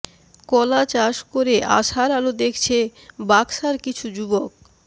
কলা চাষ করে আশার আলো দেখছে বাকসার কিছু যুবক